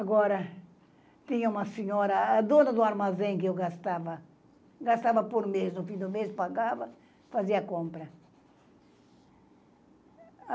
Agora, tinha uma senhora, a dona do armazém que eu gastava, gastava por mês, no fim do mês pagava, fazia compra.